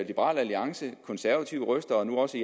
liberal alliance konservative røster og nu også